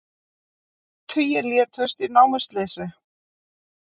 Tugir létust í námuslysi